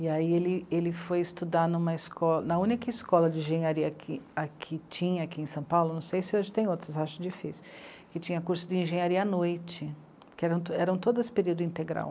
E aí ele, ele foi estudar numa esco, na única escola de engenharia que aqui, tinha aqui em São Paulo, não sei se hoje tem outras, acho difícil, que tinha curso de engenharia à noite, que eram eram todas período integral.